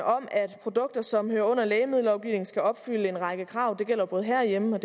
om at produkter som hører under lægemiddellovgivningen skal opfylde en række krav det gælder både herhjemme